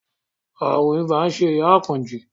Ààrùn ibà ń ṣe ìyá Àkànjí